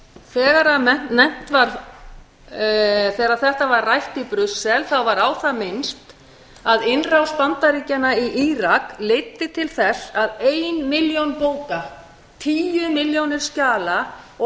þegar þetta var rætt í brussel þá var á það minnst að innrás bandaríkjanna í írak leiddi til þess að ein milljón bóka tíu milljónir skjala og